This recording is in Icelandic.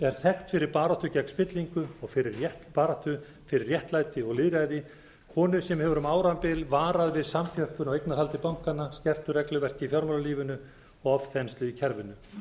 er þekkt fyrir baráttu gegn spillingu og fyrir baráttu fyrir réttlæti og lýðræði konu sem hefur um árabil varað við samþjöppun á eignarhaldi bankanna skertu regluverki í fjármálalífinu og ofþenslu í kerfinu